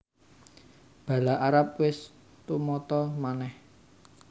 Bala Arab wis tumata manèh